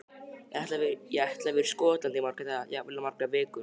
Ég ætla að vera í Skotlandi í marga daga, jafnvel í margar vikur.